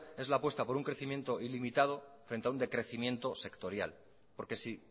es la apuesta por un crecimiento ilimitado frente a un decrecimiento sectorial porque si